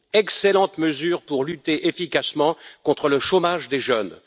Excellente mesure pour lutter efficacement contre le chômage des jeunes.